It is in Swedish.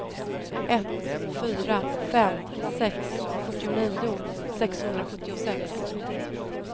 ett fyra fem sex fyrtionio sexhundrasjuttiosex